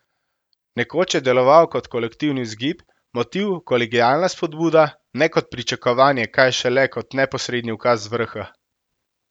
Nekoč je deloval kot kolektivni vzgib, motiv, kolegialna spodbuda, ne kot pričakovanje, kaj šele kot neposredni ukaz z vrha.